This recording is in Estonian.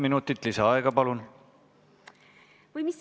Mul on tehniline küsimus.